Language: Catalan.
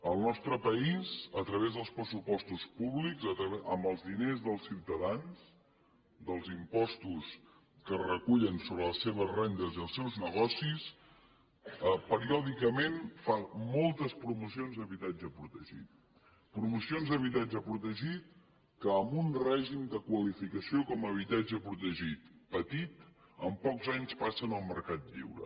el nostre país a través dels pressupostos públics amb els diners dels ciutadans dels impostos que es recullen sobre les seves rendes i els seus negocis periòdicament fa moltes promocions d’habitatge protegit promocions d’habitatge protegit que amb un règim de qualificació com a habitatge protegit petit amb pocs anys passen al mercat lliure